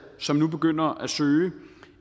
som nu begynder at søge